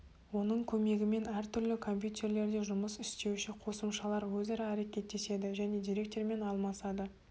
оның көмегімен әр түрлі компьютерлерде жұмыс істеуші қосымшалар өзара әрекеттеседі және деректермен алмасады